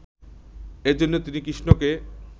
এ জন্য তিনি কৃষ্ণকে